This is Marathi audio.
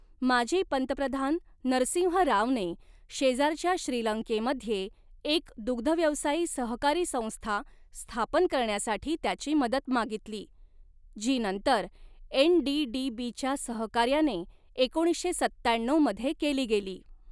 माजी पंतप्रधान नरसिंह रावने शेजारच्या श्रीलंकेमध्ये एक दुग्धव्यवसायी सहकारी संस्था स्थापन करण्यासाठी त्याची मदत मागितली, जी नंतर एन.डी.डी.बी. च्या सहकार्याने एकोणीसशे सत्त्याण्णव मध्ये केली गेली.